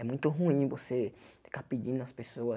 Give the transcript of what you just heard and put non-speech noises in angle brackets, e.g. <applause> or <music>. É muito ruim você <sniffs> ficar pedindo nas pessoas.